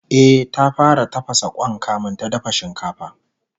E, ta fara tafasa Kwan kamin ta dafa shinkafa